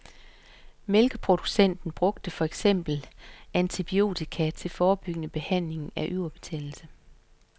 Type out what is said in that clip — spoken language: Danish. Mælkeproducenter bruger for eksempel antibiotika til forebyggende behandling af yverbetændelse.